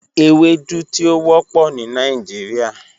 Ewedu ti o wọpọ ni Nigeria.